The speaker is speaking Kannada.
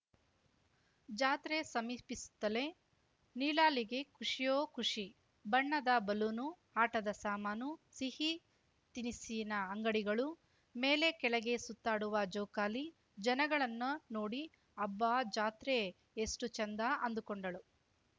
ಜಾತ್ರೆ ಸಮೀಪಿಸುತ್ತಲೇ ನೀಲಳಿಗೆ ಖುಷಿಯೋ ಖುಷಿ ಬಣ್ಣದ ಬಲೂನು ಆಟದ ಸಾಮಾನು ಸಿಹಿ ತಿನಿಸಿನ ಅಂಗಡಿಗಳು ಮೇಲೆ ಕೆಳಗೆ ಸುತ್ತಾಡುವ ಜೋಕಾಲಿ ಜನಗಳನ್ನು ನೋಡಿ ಅಬ್ಬಾ ಜಾತ್ರೆ ಎಷ್ಟುಚೆಂದ ಅಂದುಕೊಂಡಳು